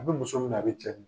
I be muso ben'a di cɛ